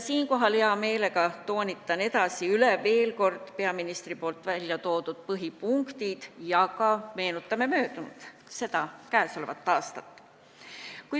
Siinkohal ma hea meelega toonitan veel kord peaministri välja toodud põhipunkte ja meenutan ka möödunut, seda käesolevat aastat.